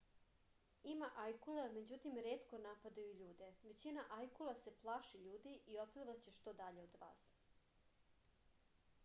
ima ajkula međutim retko napadaju ljude većina ajkula se plaši ljudi i otplivaće što dalje od vas